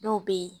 Dɔw bɛ yen